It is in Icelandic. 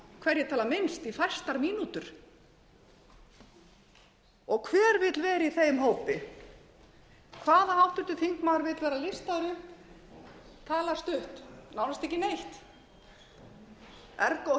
hverjir tala minnst í fæstar mínútur hver vill vera í þeim hópi hvaða háttvirtur þingmaður vill vera riddari tala stutt nánast ekki neitt hefur ekkert